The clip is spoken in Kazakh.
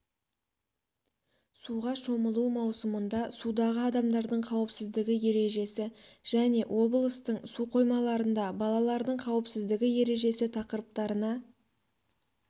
суға шомылу маусымында судағы адамдардың қауіпсіздігі ережесі және облыстың су қоймаларында балалардың қауіпсіздігі ережесі тақырыптарына